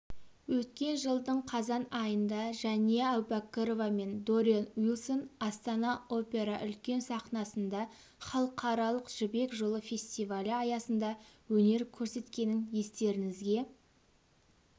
өткен жылдың қазан айында жәния әубәкірова мен дориан уилсон астана опера үлкен сахнасында халықаралық жібек жолы фестивалі аясында өнер көрсеткенін естеріңізге